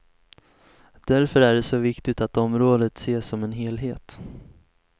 Därför är det så viktigt att området ses som en helhet.